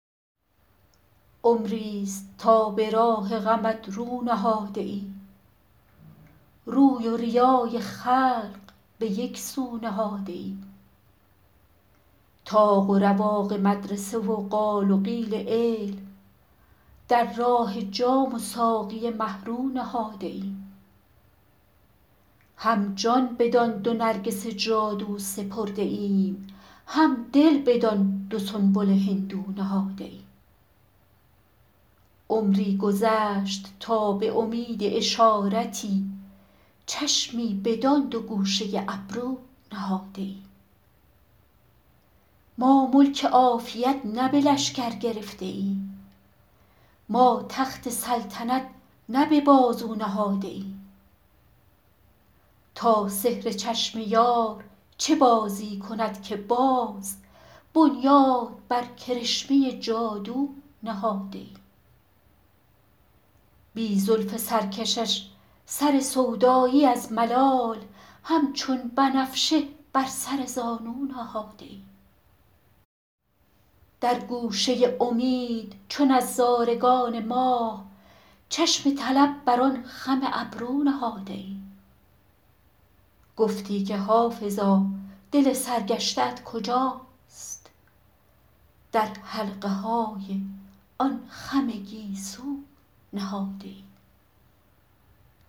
عمریست تا به راه غمت رو نهاده ایم روی و ریای خلق به یک سو نهاده ایم طاق و رواق مدرسه و قال و قیل علم در راه جام و ساقی مه رو نهاده ایم هم جان بدان دو نرگس جادو سپرده ایم هم دل بدان دو سنبل هندو نهاده ایم عمری گذشت تا به امید اشارتی چشمی بدان دو گوشه ابرو نهاده ایم ما ملک عافیت نه به لشکر گرفته ایم ما تخت سلطنت نه به بازو نهاده ایم تا سحر چشم یار چه بازی کند که باز بنیاد بر کرشمه جادو نهاده ایم بی زلف سرکشش سر سودایی از ملال همچون بنفشه بر سر زانو نهاده ایم در گوشه امید چو نظارگان ماه چشم طلب بر آن خم ابرو نهاده ایم گفتی که حافظا دل سرگشته ات کجاست در حلقه های آن خم گیسو نهاده ایم